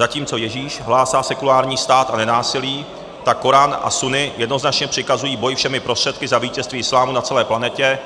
Zatímco Ježíš hlásá sekulární stát a nenásilí, tak korán a sunny jednoznačně přikazují boj všemi prostředky za vítězství islámu na celé planetě